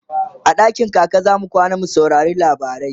a dakin kaka zamu kwana mu saurari labarai